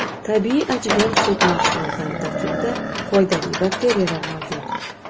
Tabiiy achigan sut mahsulotlari tarkibida foydali bakteriyalar mavjud.